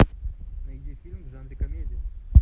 найди фильм в жанре комедия